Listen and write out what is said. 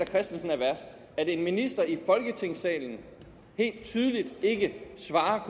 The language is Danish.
christensen er værst at en minister i folketingssalen helt tydeligt ikke svarer